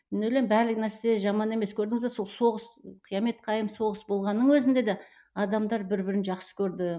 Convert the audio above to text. мен ойлаймын барлығы нәрсе жаман емес көрдіңіз бе сол соғыс қиямет қайым соғыс болғанның өзінде де адамдар бір бірін жақсы көрді